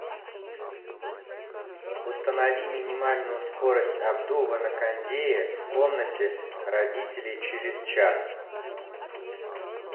установи минимальную скорость обдува на кондее в комнате родителей через час